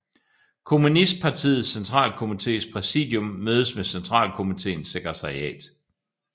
Kommunistpartiets centralkomités præsidium mødes med centralkomitéens sekretariat